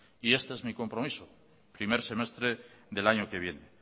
y este es mi compromiso primer semestre del año que viene